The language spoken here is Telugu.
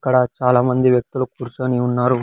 ఇక్కడ చాలా మంది వేక్తులు కూర్చొని ఉన్నారు.